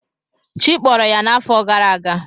Chi kpọrọ ya n’afọ gara aga.